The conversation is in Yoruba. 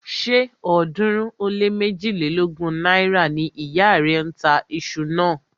Ṣé ọ̀ọ́dúnrún ó lé méjilélógún náírà ni ìyá rẹ̀ ń tà iṣu náà?